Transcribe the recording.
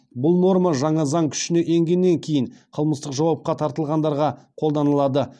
бұл норма жаңа заң күшіне енгеннен кейін қылмыстық жауапқа тартылғандарға қолданылады